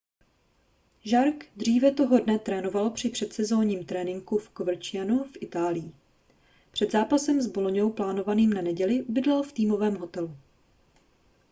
jarque dříve toho dne trénoval při předsezónovém tréninku v covercianu v itálii před zápasem s boloňou plánovaným na neděli bydlel v týmovém hotelu